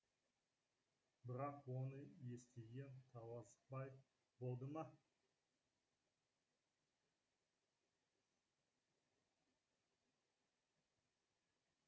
бірақ оны естіген таласбай болды ма